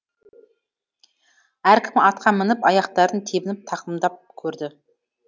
әркім атқа мініп аяқтарын тебініп тақымдап көрді